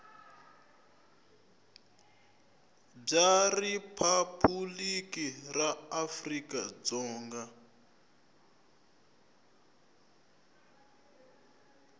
bya riphabuliki ra afrika dzonga